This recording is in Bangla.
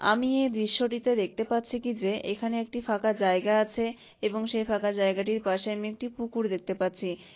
আমি এই দৃশ্যটিতে দেখতে পাচ্ছি কি যে এখানে একটি ফাঁকা জায়গা আছে এবং সেই ফাঁকা জায়গাটির পাশে আমি একটি পুকুর দেখতে পাচ্ছি ।